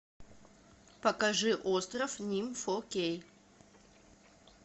покажи остров ним фо кей